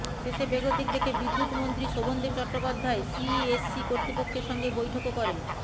শেষে বেগতিক দেখে বিদ্যুৎমন্ত্রী শোভনদেব চট্টোপাধ্যায় সিইএসসি কর্তৃপক্ষের সঙ্গে বৈঠকও করেন